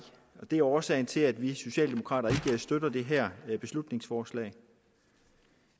og det er årsagen til at vi socialdemokrater ikke støtter det her beslutningsforslag